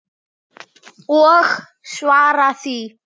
Og svara því.